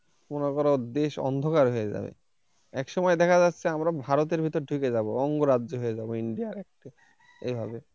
মনে করো দেশ অন্ধকার হয়ে যাবে একসময় দেখা যাচ্ছে আমরা ভারতের ভিতরে ঢুকে যাব অঙ্গরাজ্য হয়ে যাব india র একটা এভাবে।